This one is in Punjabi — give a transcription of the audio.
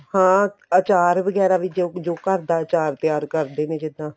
ਹਾਂ ਅਚਾਰ ਵਗੈਰਾ ਵੀ ਜੋ ਘਰ ਦਾ ਅਚਾਰ ਤਿਆਰ ਕਰਦੇ ਨੇ ਜਿੱਦਾਂ